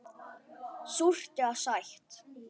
Súrt eða sætt.